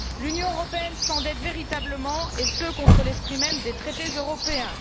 L'Union européenne s'endette véritablement, et ce contre l'esprit même des traités européens.